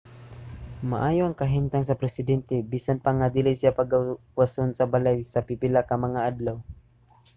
maayo ang kahimtang sa presidente bisan pa nga dili siya pagawason sa balay sa pipila ka mga adlaw